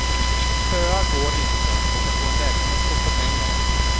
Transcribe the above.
Köa går inte och att få en lägenhet kostar pengar.